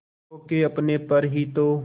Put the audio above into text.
खो के अपने पर ही तो